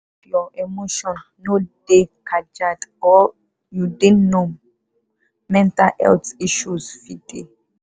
if your emotion no dey kajad or you dey numb mental health issue fit dey.